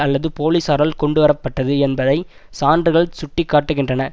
அல்லது போலீசாரால் கொண்டுவர பட்டது என்பதை சான்றுகள் சுட்டி காட்டுகின்றன